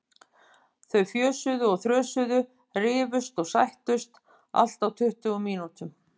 Þau fjösuðu og þrösuðu, rifust og sættust, allt á tuttugu mínútum.